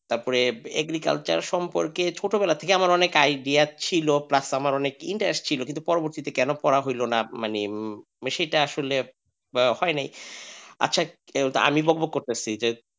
তারপরে agriculture সম্পর্কে ছোটবেলা থেকে আমার অনেক idea ছিল plus আমার interest ছিল কিন্তু পরবর্তী ক্ষেত্রে কেন পড়া হলো না মানে বেশিটা আসলে হয়নি আচ্ছা আমি বকবক করতেসি যে.